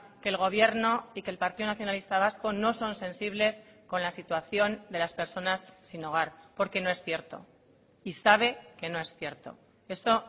que el gobierno y que el partido nacionalista vasco no son sensibles con la situación de las personas sin hogar porque no es cierto y sabe que no es cierto eso